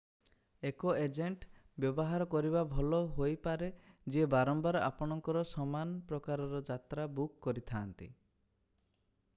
ଏକ ଏଜେଣ୍ଟ ବ୍ୟବହାର କରିବା ଭଲ ହୋଇପାରେ ଯିଏ ବାରମ୍ବାର ଆପଣଙ୍କର ସମାନ ପ୍ରକାରର ଯାତ୍ରା ବୁକ୍ କରିଥାନ୍ତି